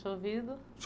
chovido.